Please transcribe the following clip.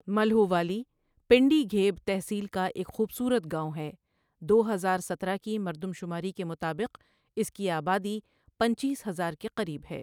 ملہووالی، پنڈی گھیب تحصیل کا ایک خوبصورت گاوٌں ہے دو ہزار سترہ کی مردم شماری کے مطابق اس کی آبادی پنچیس ہزار کے قریب ہے۔